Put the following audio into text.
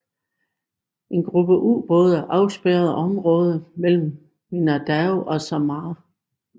En gruppe ubåde afspærrede området mellem Mindanao og Samar